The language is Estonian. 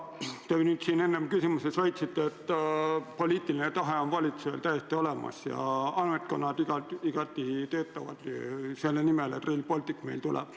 Te enne küsimusele vastates väitsite, et poliitiline tahe on valitsusel täiesti olemas ja ametkonnad igati töötavad selle nimel, et Rail Baltic meile tuleb.